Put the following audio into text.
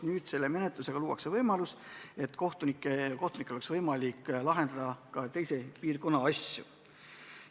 Selle eelnõuga luuakse võimalus, et kohtunikel on võimalik lahendada ka teise piirkonna asju.